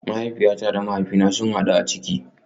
Mahaifiyata da mahaifina sun hadu a ciki